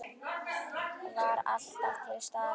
Var alltaf til staðar.